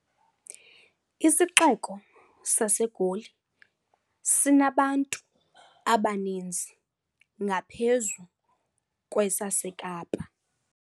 Isixeko saseGoli sinabantu abaninzi ngaphezu kwesaseKapa.